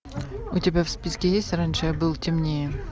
у тебя в списке есть раньше я был темнее